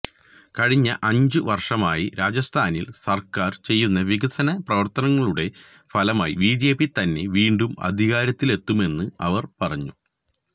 കഴിഞ്ഞ അഞ്ചു വർഷമായി രാജസ്ഥാനിൽ സർക്കാർ ചെയ്യുന്ന വികസന പ്രവർത്തനങ്ങളുടെ ഫലമായി ബിജെപി തന്നെ വീണ്ടും അധികാരത്തിലെത്തുമെന്നും അവർ പറഞ്ഞു